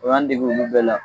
O y'an dege olu bɛɛ la